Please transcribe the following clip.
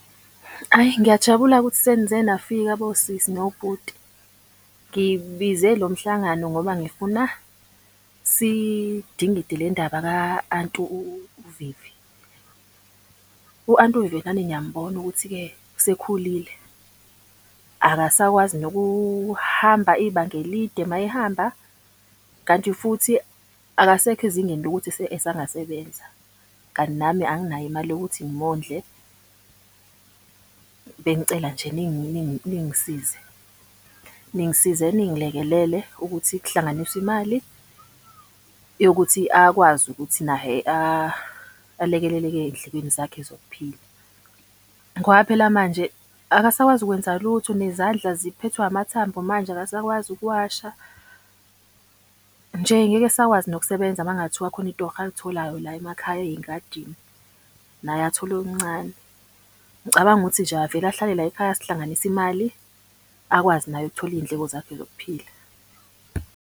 Ayi, ngiyajabula-ke ukuthi senize nafika bosisi nobhuti. Ngibize lo mhlangano ngoba ngifuna sidingide le ndaba ka-anti uVivi. U-anti uVivi nani niyambona ukuthi-ke usekhulile, akasakwazi nokuhamba ibanga elide uma ehamba. Kanti futhi akasekho ezingeni lokuthi esangasebenza. Kanti nami anginayo imali yokuthi ngimondle. Bengicela nje ningisize ningisize, ningilekelele ukuthi kuhlanganiswe imali yokuthi akwazi ukuthi naye alekeleleke ey'ndlekweni zakhe zokuphila. Ngoba phela manje akasakwazi kwenza lutho nezandla ziphethwe amathambo manje akasakwazi ukuwasha. Nje, ngeke esakwazi nokusebenza uma kungathiwa khona itorho alitholayo la emakhaya ey'ngadini, naye athole okuncane. Ngicabanga ukuthi nje avele ahlale layikhaya, sihlanganise imali akwazi naye ukuthola iy'ndleko zakhe zokuphila.